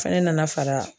Fɛnɛ nana fara